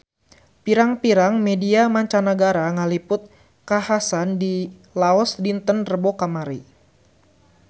Pirang-pirang media mancanagara ngaliput kakhasan di Laos dinten Rebo kamari